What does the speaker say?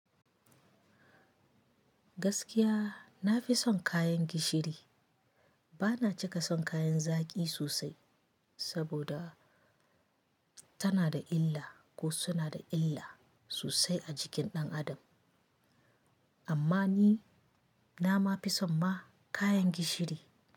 Gaskiya nafi son kayan gishiri. Ba na cika son kayan zaƙi sosai saboda ta nada illa ko suna da illa sosai a jikin ɗan Adam amma ni nama fi son ma kayan gishiri.